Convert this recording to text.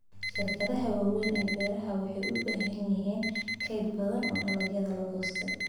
Shirkadaha waaweyn ee beeraha waxay u baahan yihiin kayd badan oo dalagyo la goostay.